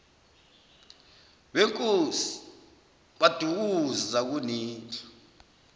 wenkosi kwadukuza kunendlu